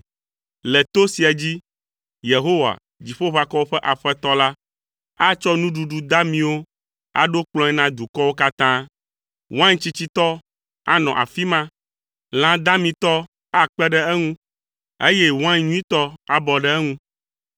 Le to sia dzi, Yehowa, Dziƒoʋakɔwo ƒe Aƒetɔ la, atsɔ nuɖuɖu damiwo aɖo kplɔ̃e na dukɔwo katã. Wain tsitsitɔ anɔ afi ma. Lã damitɔ akpe ɖe eŋu, eye wain nyuitɔ abɔ ɖe eŋu.